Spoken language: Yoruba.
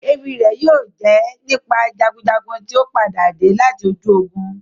Éwi rẹ yóò jẹ nípa jagunjagun tio padade lati ojú ogun.